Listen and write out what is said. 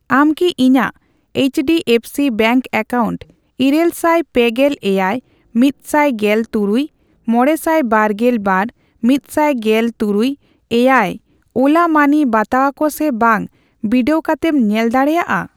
ᱟᱢ ᱠᱤ ᱤᱧᱟᱜ H D F C bank account ᱤᱨᱟᱹᱞ ᱥᱟᱭ ᱯᱮᱜᱮᱞ ᱮᱭᱟᱭ, ᱢᱤᱛᱥᱟᱭ ᱜᱮᱞ ᱛᱩᱨᱩᱭ ,ᱢᱚᱲᱮᱥᱟᱭ ᱵᱟᱨᱜᱮᱞ ᱵᱟᱨ ,ᱢᱤᱛᱥᱟᱭ ᱜᱮᱞᱛᱩᱨᱩᱭ ,ᱮᱭᱟᱭ ᱳᱞᱟ ᱢᱟᱹᱱᱤ ᱵᱟᱛᱟᱣᱟ ᱠᱚ ᱥᱮ ᱵᱟᱝ ᱵᱤᱰᱟᱹᱣ ᱠᱟᱛᱮᱢ ᱧᱮᱞ ᱫᱟᱲᱮᱭᱟᱜᱼᱟ?